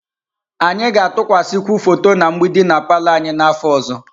Anyị ga-atụkwasịkwu foto na mgbidi na palọ anyị n'afọ ọzọ.